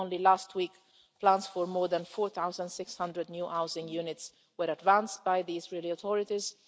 Only last week, plans for more than 4600 new housing units were advanced by the Israeli authorities.